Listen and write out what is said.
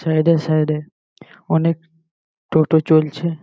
Side - এ side -এ অনেক টোটো চলছে।